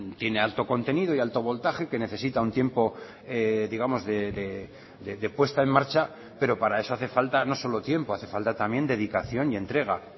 tiene alto contenido y alto voltaje que necesita un tiempo digamos de puesta en marcha pero para eso hace falta no solo tiempo hace falta también dedicación y entrega